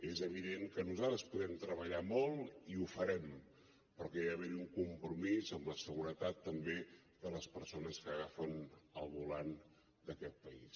és evident que nosaltres podem treballar molt i ho farem però que hi ha d’haver un compromís amb la seguretat també de les persones que agafen el volant d’aquest país